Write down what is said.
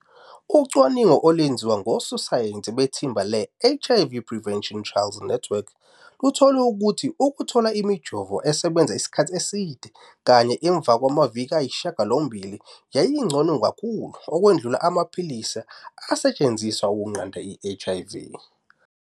Ucwaningo, olwenziwe ngososayensi bethimba leHIV Prevention Trials Network, luthole ukuthi ukuthola imijovo esebenza isikhathi eside kanye emva kwamaviki ayisishiyagalombili yayingcono kakhulu ukwedlula amaphilisi asetshenziselwa ukunqanda i-HIV.